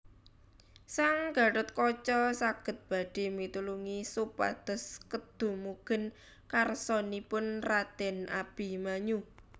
Sang Gathotkaca sagad badhé mitulungi supados kedumugen karsanipun radèn Abimanyu